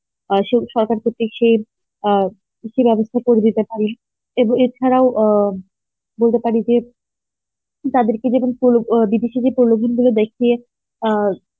অ্যাঁ সে সরকার থেকে সে অ্যাঁ কিছু ব্যবস্থা করে দিতে পারি এ বো~ এ ছাড়াও আ বলতে পারি যে তাদেরকে যেমন প্রয়োজন গুলো দেখিয়ে আ